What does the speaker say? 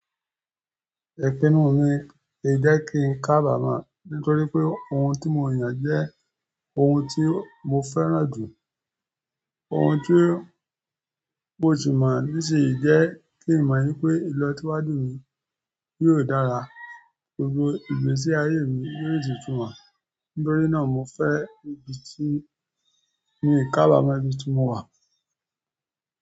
Ipinu mi, ì jẹ́ kí n kábàmo nítorí pé òun tí mo yàn jẹ́ ohun tí mo fẹ́ràn jù, ohun tí mo ṣi mọ̀ nisin yi jẹ́ kí n mọ̀ wípé ìlọ̀siwaju mi yóò dára, gbogbo ìgbésí ayé mi yóò di túmọ̀. Nítorí náà, mo fẹ́ ibi tí mi kábàmo ibí ti mọ̀ wà.